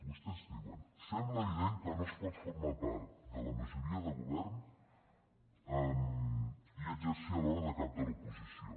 vostès diuen sembla evident que no es pot formar part de la majoria de govern i exercir alhora de cap de l’oposició